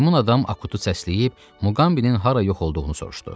Meymun adam Akutu səsləyib Muqambinin hara yox olduğunu soruşdu.